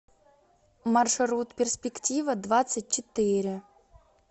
маршрут перспектива двадцать четыре